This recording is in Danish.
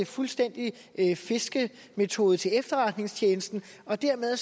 fuldstændig fiskemetode til efterretningstjenesten dermed